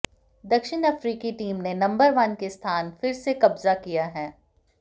दक्षिण अफ्रीकी टीम ने नंबर वन के स्थान फिर से कब्जा किया है